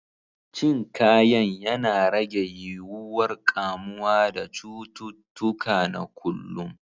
Cin Kayan yana rage yiwuwar ƙamuwa da cututtuka na kullum.